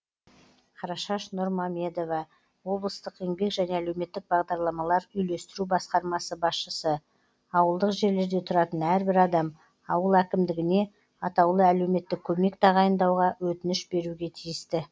қарашаш нұрмамедова облыстық еңбек және әлеуметтік бағдарламалар үйлестіру басқармасы басшысы ауылдық жерлерде тұратын әрбір адам ауыл әкімдігіне аәк тағайындауға өтініш беруге тиісті